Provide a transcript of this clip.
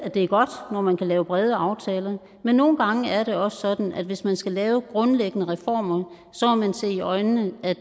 det er godt når man kan lave brede aftaler men nogle gange er det også sådan at hvis man skal lave grundlæggende reformer må man se i øjnene at